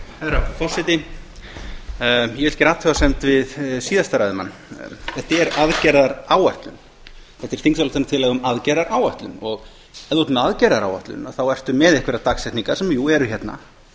herra forseti ég vil gera athugasemd við orð síðasta ræðumanns þetta er aðgerðaáætlun þetta er þingsályktun um aðgerðaáætlun ef maður er með aðgerðaáætlun er maður með einhverjar dagsetningar sem jú eru hérna